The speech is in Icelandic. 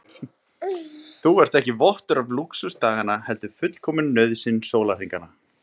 Þú ert ekki vottur af lúxus daganna heldur fullkomin nauðsyn sólarhringanna.